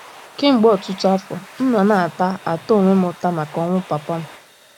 Kemgbe ọtụtụ afọ, m nọ na - ata - ata onwe m ụta maka ọnwụ papa m.